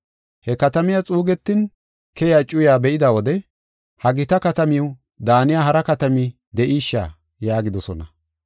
He katamiya xuugetin keyiya cuyaa be7ida wode, ‘Ha gita katamiw daaniya hara katami de7ishsha?’ yaagidosona.